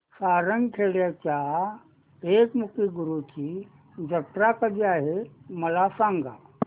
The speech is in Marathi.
सारंगखेड्याच्या एकमुखी दत्तगुरूंची जत्रा कधी आहे मला सांगा